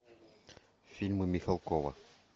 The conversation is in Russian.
фильмы михалкова